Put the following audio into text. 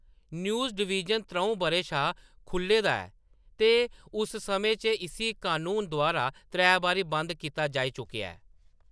News divine त्र'ऊं बʼरें शा खुʼल्ले दा ऐ ते उस समें च इस्सी कनून द्वारा त्रै बारी बंद कीता जाई चुकेआ ऐ।